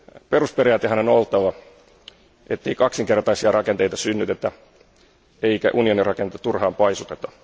Perusperiaatteenahan on oltava, ettei kaksinkertaisia rakenteita synnytetä eikä unionin rakenteita turhaan paisuteta.